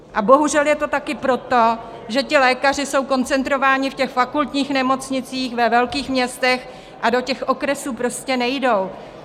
A bohužel je to taky proto, že ti lékaři jsou koncentrováni v těch fakultních nemocnicích ve velkých městech a do těch okresů prostě nejdou.